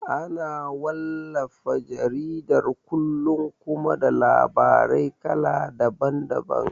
Ana wallafa jaridar kullum kuma da labarai kala daban daban